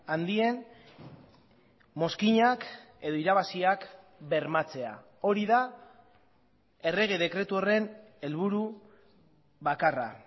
handien mozkinak edo irabaziak bermatzea hori da errege dekretu horren helburu bakarra